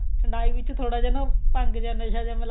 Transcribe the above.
ਠੰਡਿਆਈ ਵਿੱਚ ਥੋੜਾ ਜਿਹਾ ਨਾ ਭੰਗ ਜਾ ਨਸ਼ਾ ਜਿਹਾ ਮਿਲਾ